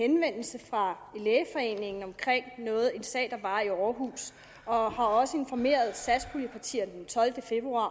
henvendelse fra lægeforeningen om en sag fra århus og også informerede satspuljepartierne den tolvte februar